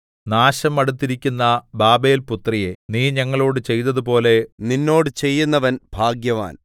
നാശം അടുത്തിരിക്കുന്ന ബാബേൽപുത്രിയേ നീ ഞങ്ങളോടു ചെയ്തതുപോലെ നിന്നോട് ചെയ്യുന്നവൻ ഭാഗ്യവാൻ